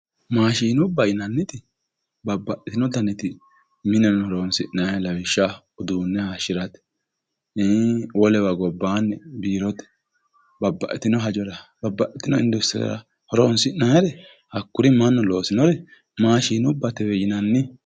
maashinubba yinanniti baxxeo garinni mineno horonsi'nanni lawishshaho uduunne hayiishshirate iii wolewa gobbaanni biirote babbaxitino hajora babbaxitino industirera horonsi'nannire hakkuri mannu loosinore maashinubbatewe yinanni.